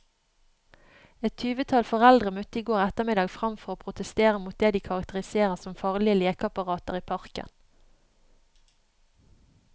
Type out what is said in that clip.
Et tyvetall foreldre møtte i går ettermiddag frem for å protestere mot det de karakteriserer som farlige lekeapparater i parken.